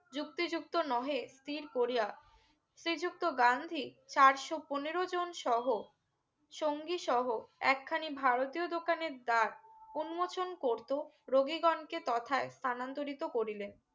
যুক্তি যুক্ত নহে স্থির করিয়া শ্রী যুক্ত গান্ধী চারশো পনেরো জন সহ সঙ্গী সহ একখানি ভারতীয় দোকানের দাত উন্মোচন করতো রোগীগনকে তথায় স্থানান্তরিত করিলেন